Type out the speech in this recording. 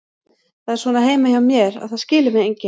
Það er svona heima hjá mér, að það skilur mig enginn.